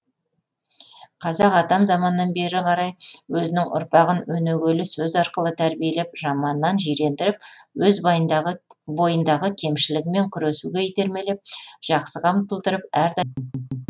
қазақ атам заманнан бері қарай өзінің ұрпағын өнегелі сөз арқылы тәрбиелеп жаманнан жирендіріп өз бойындағы кемшілігімен күресуге итермелеп жақсыға ұмтылдырып әрдайым